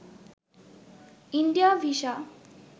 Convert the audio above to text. India visa